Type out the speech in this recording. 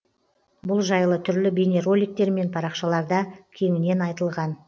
бұл жайлы түрлі бейнероликтер мен парақшаларда кеңінен айтылған